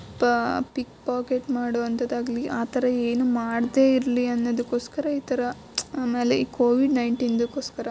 ಪ pick pocket ಮಾಡುವಂತದ್ದಾಗಲಿ ಆ ತರ ಏನು ಮಾಡ್ಡೆ ಇರ್ಲಿ ಅನ್ನೊದಿಕ್ಕೋಸ್ಕರ ಈ ತರ ಆಮೇಲೆ ಈ ಕೋವಿಡ ೧೯ ದಗೋಸ್ಕರ --